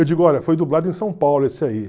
Eu digo, olha, foi dublado em São Paulo esse aí.